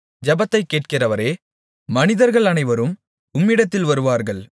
ஜெபத்தைக் கேட்கிறவரே மனிதர்கள் அனைவரும் உம்மிடத்தில் வருவார்கள்